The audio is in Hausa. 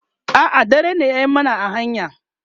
a'a dare ne ya mana a hanya